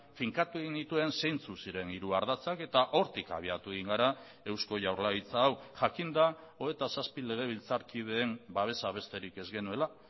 finkatu egin nituen zeintzuk ziren hiru ardatzak eta hortik abiatu egin gara eusko jaurlaritza hau jakinda hogeita zazpi legebiltzarkideen babesa besterik ez genuela